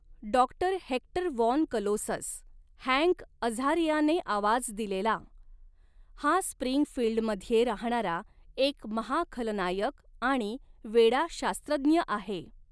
Doctor Hector von Colossus Hank अझारियाने आवाज दिलेला हा स्प्रिंगफील्डमध्ये राहणारा एक महाखलनायक आणि वेडा शास्त्रज्ञ आहे.